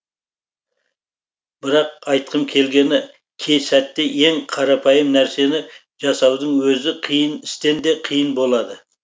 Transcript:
бірақ айтқым келгені кей сәтте ең қарапайым нәрсені жасаудың өзі қиын істен де қиын болады